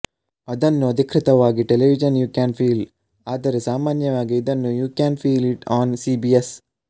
ಅದನ್ನು ಅಧಿಕೃತವಾಗಿ television you can feel ಆದರೆ ಸಾಮಾನ್ಯವಾಗಿ ಇದನ್ನು you can feel it on CBS